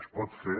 es pot fer